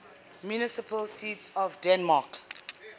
municipal seats of denmark